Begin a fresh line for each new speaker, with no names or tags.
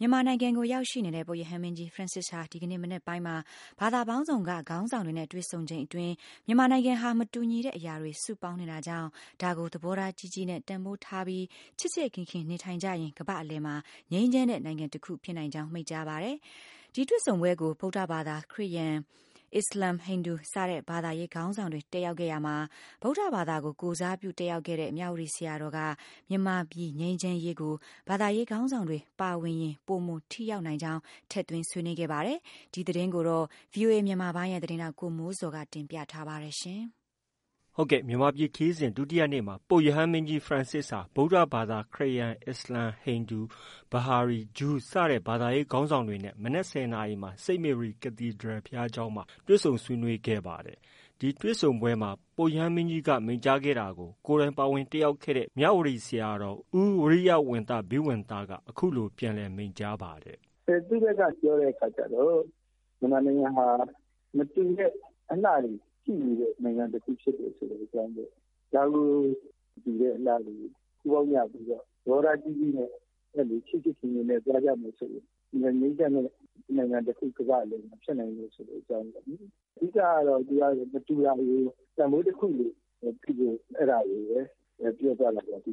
မြန်မာနိုင်ငံကို ရောက်ရှိနေတဲ့ ပုပ်ရဟန်းမင်းကြီး Francis ဟာ ဒီကနေ့ မနက်ပိုင်းမှာ ဘာသာပေါင်းစုံ က ခေါင်းဆောင်တွေနဲ့ တွေ့ဆုံချိန်မှာ မြန်မာနိုင်ငံဟာ မတူညီတဲ့အရာတွေ စုပေါင်းနေတာကြောင့် ဒါကို သဘောထားကြီးကြီးနဲ့ တန်ဖိုးထားပြီး ချစ်ချစ်ခင်ခင်နေထိုင်ကြရင် ကမ္ဘာ့အလယ်မှာ ငြိမ်းချမ်းတဲ့ နိုင်ငံတခု ဖြစ်နိုင်ကြောင်း မိန့်ကြားပါတယ်။ ဒီတွေ့ဆုံပွဲကို ဗုဒ္ဓဘာသာ၊ ခရစ်ယာန်၊ အစ္စလာမ်၊ ဟိန္ဒူ စတဲ့ ဘာသာ ရေးခေါင်းဆောင်တွေ တက်ရောက်ခဲ့ရာမှာ ဗုဒ္ဓဘာသာကို ကိုယ်စားပြုတက်ရောက်တဲ့ မြဝတီ ဆရာတော်က မြန်မာပြည်ငြိမ်းချမ်းရေးကို ဘာသာရေးခေါင်းဆောင်တွေ ပါဝင်ရင်ပိုမိုထိရောက်နိုင်ကြောင်း ထည့်သွင်း ဆွေးနွေးခဲ့ပါတယ်။ ဒီသတင်းကို ဗွီအိုအေ မြန်မာပိုင်းရဲ့သတင်းထောက် ကိုမိုးဇော်က တင်ပြထားပါတယ်။
မြန်မာပြည်ခရီးစဉ် ဒုတိယနေ့မှာ ပုပ်ရဟန်းမင်းကြီး Francis ဟာ ဗုဒ္ဓဘာသာ၊ ခရစ်ယာန်၊ အစ္စလာမ်၊ ဟိန္ဒူ၊ ဘဟာရီ၊ ဂျူးစတဲ့ ဘာသာရေးခေါင်းဆောင်တွေနဲ့ မနက် ၁၀နာရီမှာ St Mary Cathedral ဘုရားကျောင်းမှာ တွေ့ဆုံဆွေးနွေးခဲ့ကြပါတယ်။ ဒီတွေ့ဆုံပွဲမှာ ပုပ်ရဟန်းမင်းကြီးက မိန့်ကြားခဲ့တာကို ကိုယ်တိုင်ပါဝင်တက်ရောက်ခဲ့ မြဝတီဆရာတော် ဦးဝီရိယဝံသ ဘိဝံသက အခုလို ပြန်လည်မိန့်ကြားပါတယ်
။ “သူ့ဖက်က ပြောတဲ့အခါကျတော့ မြန်မာနိုင်ငံဟာ မတူတဲ့ အလှတွေ ရှိနေတယ်ဆိုတဲ့ အကြောင်းပေါ့။ ဒါကို မတူတဲ့အလှတွေကို ပူးပေါင်းကြပြီးတော့ သဘောထားကြီးကြီးနဲ့ ချစ်ချစ်ခင်ခင်နဲ့သွားကြမယ်ဆိုရင် အင်မတန် ငြိမ်းချမ်းတဲ့ နိုင်ငံတခု ကမ္ဘာ့အလယ်မှာ ဖြစ်နိုင်တယ်ဆိုတဲ့ အကြောင်းပေါ့လေ။ အဓိကကတော့ သူက မတူတာတွေကို တန်ဖိုးတခုလို ဖြစ်ဖို့ အဲဒါကိုပဲ ပြောသွားတာပေါ့။”